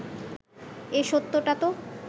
এ সত্যটা তো